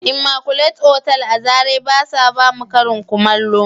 " Immaculate" otal a zarai ba su ba mu Karin kullamo